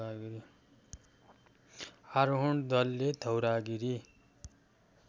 आरोहण दलले धौलागिरी